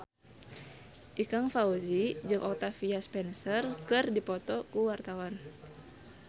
Ikang Fawzi jeung Octavia Spencer keur dipoto ku wartawan